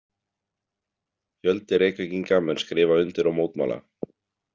Fjöldi Reykvíkinga mun skrifa undir og mótmæla.